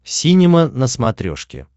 синема на смотрешке